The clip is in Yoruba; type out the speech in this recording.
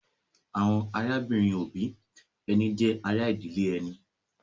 Àwọn arábìnrin-òbí ẹni jẹ́ ará ìdílé ẹni.